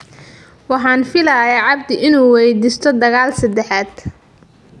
"Waxaan filayaa [Cabdi] inuu waydiisto dagaal saddexaad.